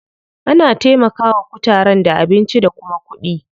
Ana taimaka wa kutaren da abinci da kuma kuɗi.